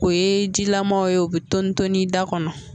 O ye jilamaw o be tɔni tɔni da kɔnɔ